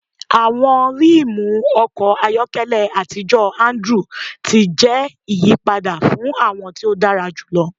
Awọn rimu ọkọ ayọkẹlẹ atijọ Andrew ti jẹ iyipada fun awọn ti o dara julọ